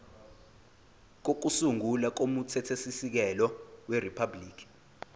kokusungula komthethosisekelo weriphabhuliki